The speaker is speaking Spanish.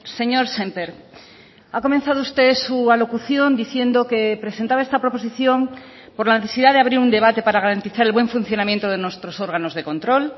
señor sémper ha comenzado usted su alocución diciendo que presentaba esta proposición por la necesidad de abrir un debate para garantizar el buen funcionamiento de nuestros órganos de control